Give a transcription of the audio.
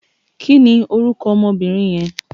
Kini órúkò òmò óbìrín yèn?